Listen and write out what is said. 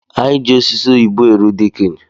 Anyi ji ososi oyibo eru dekini